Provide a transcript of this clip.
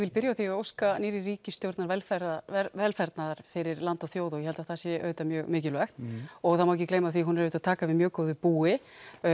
byrja á því að óska nýrri ríkisstjórn velfarnaðar velfarnaðar fyrir land og þjóð og ég held að það sé mjög mikilvægt og það má ekki gleyma því að hún er að taka við mjög góðu búi